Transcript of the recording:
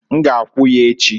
N g'akwu ya echi.